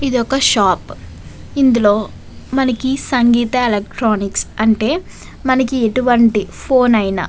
ఇది ఒక షాప్ ఇందులో మనకి సంగీత ఎలక్ట్రానిక్స్ అంటే మనకి ఎటువంటి ఫోన్ అయినా --